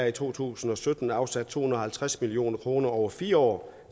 i to tusind og sytten afsat to hundrede og halvtreds million kroner over fire år